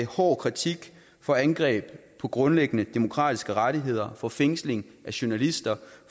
hård kritik for angreb på grundlæggende demokratiske rettigheder for fængsling af journalister